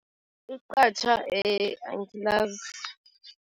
Iqatjha angilazi.